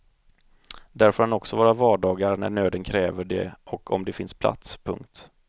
Där får han också vara vardagar när nöden kräver det och om det finns plats. punkt